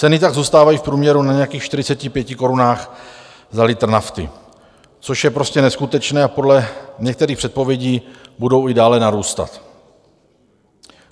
Ceny tak zůstávají v průměru na nějakých 45 korunách za litr nafty, což je prostě neskutečné, a podle některých předpovědí budou i dále narůstat.